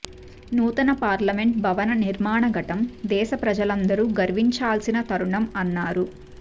నూతన పార్లమెంట్ భవన నిర్మాణ ఘట్టం దేశ ప్రజలందరూ గర్వించాల్సిన తరుణం అన్నారు